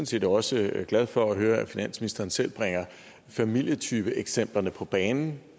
set også glad for at høre at finansministeren selv bringer familietypeeksemplerne på banen